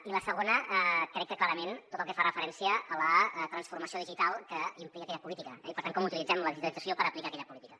i la segona crec que clarament tot el que fa referència a la transformació digital que implica aquella política i per tant com utilitzem la digitalització per aplicar aquella política